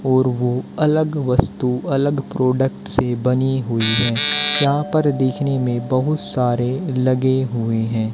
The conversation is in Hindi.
और वो अलग वस्तु अलग प्रोडक्ट से बनी हुई है यहां पर देखने में बहुत सारे लगे हुए हैं।